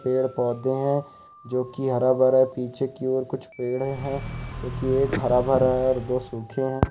पेड़ पौधे है जो की हरा भरा पीछे की ओर कुछ पेड़ है जो कि एक हरा भरा है और दो सूखे हैं।